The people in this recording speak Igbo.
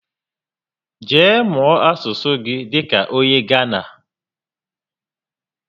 Jee mụọ asụsụ gị dịka onye Gánà